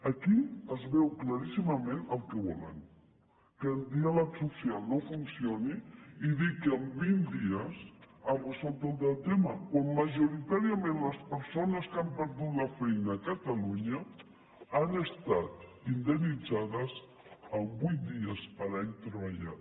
aquí es veu claríssimament el que volen que el diàleg social no funcioni i dir que amb vint dies s’ha resolt el tema quan majoritàriament les persones que han perdut la feina a catalunya han estat indemnitzades amb vuit dies per any treballat